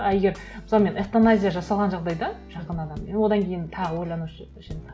а егер мысалы мен эвтаназия жасаған жағдайда жақын адам мен одан кейін тағы ойланып едім